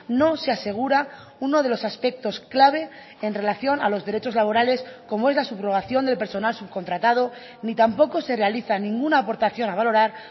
no se asegura uno de los aspectos clave en relación a los derechos laborales como es la subrogación del personal subcontratado ni tampoco se realiza ninguna aportación a valorar